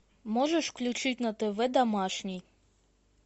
можешь включить на тв домашний